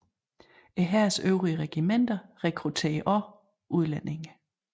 Hærens øvrige regimenter rekrutterede også udlændinge